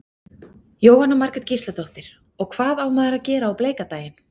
Jóhanna Margrét Gísladóttir: Og hvað á maður að gera á bleika daginn?